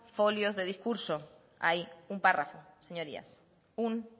folios de discurso hay un párrafo señorías un